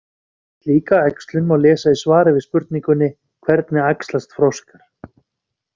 Um slíka æxlun má lesa í svari við spurningunni: Hvernig æxlast froskar?